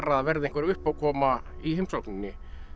það verði einhver uppákoma í heimsókninni